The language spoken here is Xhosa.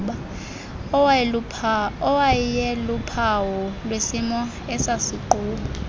awayeluphawu lwesimo esasigquba